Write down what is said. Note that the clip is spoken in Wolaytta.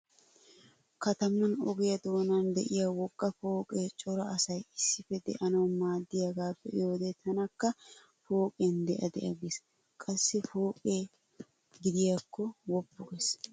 Katman ogiya doonan diya wogga pooqee cora asay issippe de'anawu maaddiyaga be'iyode tanakka pooqiyan de'a de'a gees. Qassi pooqe giddoykka woppu gees.